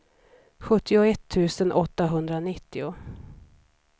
sjuttioett tusen åttahundranittio